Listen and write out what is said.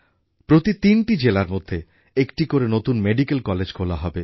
প্রতি তিনটি জেলার মধ্যে একটি করে নতুন মেডিক্যাল কলেজ খোলা হবে